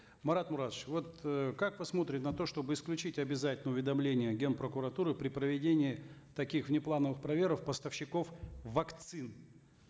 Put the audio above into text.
марат муратович вот э как вы смотрите на то чтобы исключить обязательное уведомление ген прокуратуры при проведении таких внеплановых проверок поставщиков вакцин